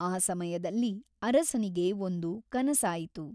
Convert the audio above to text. ಆ ಸಮಯದಲ್ಲಿ ಅರಸನಿಗೆ ಒಂದು ಕನಸಾಯಿತು.